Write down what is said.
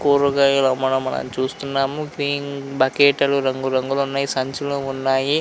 కూరగాయలు అమ్మడం మనం చూస్తున్నాము గ్రీన్ బకెట్లు రంగు రంగులు ఉన్నాయి సంచులు ఉన్నాయి.